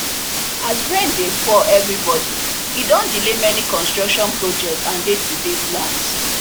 as rain dey fall everybody e don delay many construction projects and day to day plans